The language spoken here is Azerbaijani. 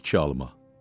İki alma.